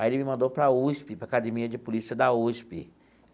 Aí, ele me mandou para a USP, para a Academia de Polícia da USP.